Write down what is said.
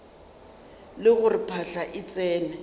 le gore phahla e tsene